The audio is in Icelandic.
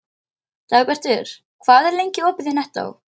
Dagbjartur, hvað er lengi opið í Nettó?